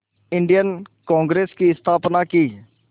Indian Congress की स्थापना की